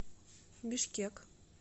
бишкек